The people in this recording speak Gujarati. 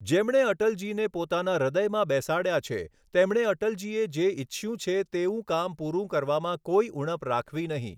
જેમણે અટલજીને પોતાના હૃદયમાં બેસાડ્યા છે, તેમણે અટલજીએ જે ઈચ્છ્યું છે તેવું કામ પૂરૂ કરવામાં કોઈ ઊણપ રાખવી નહીં.